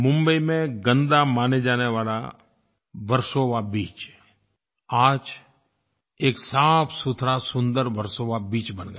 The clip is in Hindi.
मुंबई में गंदा माने जाने वाला वर्सोवा बीच आज एक साफ़सुथरा सुंदर वर्सोवा बीच बन गया